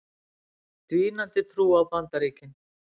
Dvínandi trú á Bandaríkin